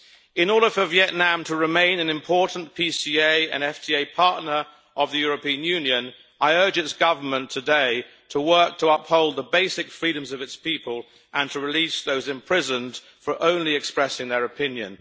In order for Vietnam to remain an important PSA and FDA partner of the European Union, I urge its government today to work to uphold the basic freedoms of its people and to release those imprisoned only for expressing their opinion.